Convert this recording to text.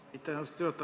Aitäh, austatud juhataja!